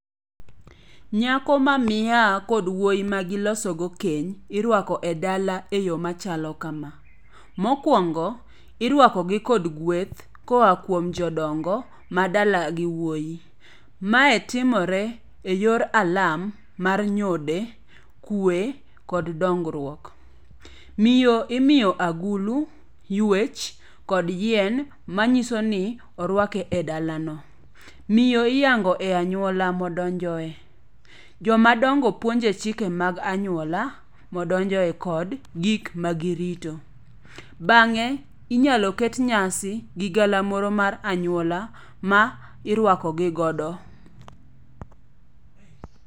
Nyako ma miaha kod wuoyi ma giloso go kenya iruako e dala e yo machalo kama. Mokuongo, iruakogi kod gweth koa kuom jodongo madala gi wuoi. Mae timortte e yor alam mar nyode, kwe, kod dongruok. Miyo imiyo agulu, yuech, kod yiem manyiso ni orwake e dala. Miyo iyango e anyual modonjoe. Jomadongo puonje chike mag anyuola kod gik magirito. Bang'e inyalo ket nyasi gi galamoro mar anyuola ma iruako gi go.